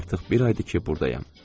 Artıq bir aydır ki burdayam.